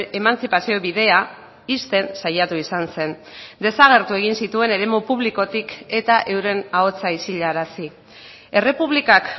emantzipazio bidea ixten saiatu izan zen desagertu egin zituen eremu publikotik eta euren ahotsa isilarazi errepublikak